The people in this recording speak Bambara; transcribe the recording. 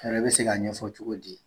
A yɛrɛ bɛ se k'a ɲɛfɔ cogo di?